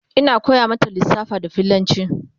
Ina koya mata lissafa da fillanci